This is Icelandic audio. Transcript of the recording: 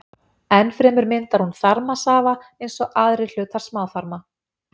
Enn fremur myndar hún þarmasafa eins og aðrir hlutar smáþarma.